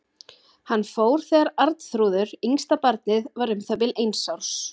Hann fór þegar Arnþrúður, yngsta barnið, var um það bil eins árs.